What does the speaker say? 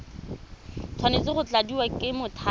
tshwanetse go tladiwa ke mothapiwa